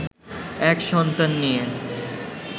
এক সন্তান নিয়ে